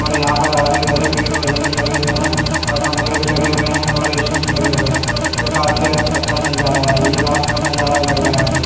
और यहां पर हरे भरे पेड़ पौधे भी लगे हुए हैं और पंखे भी लगे हुए हैं और ए_सी भी लगे हुए हैं जो काफी अच्छा नजारा है ये रात का नजारा लग रहा है मुझे।